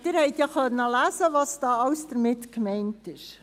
Sie konnten lesen, was damit gemeint ist: